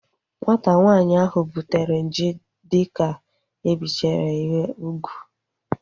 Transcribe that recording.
Nwata nwaanyị ahu butere nje dike ebichara ya ugwu